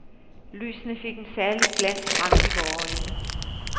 Lysene fik en særlig glans frem i vore øjne.